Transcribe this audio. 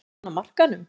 Er hann á markaðnum?